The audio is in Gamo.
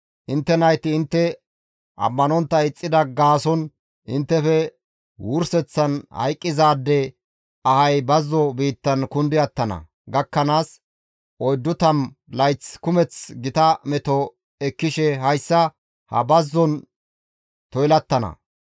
Intte nayti intte ammanontta ixxida gaason inttefe wurseththan hayqqizaade ahay bazzo biittan kundi attana gakkanaas 40 layth kumeth gita meto ekkishe hayssa ha bazzozan toylattana.